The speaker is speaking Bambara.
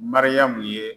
Mariyamu ye